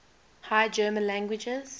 high german languages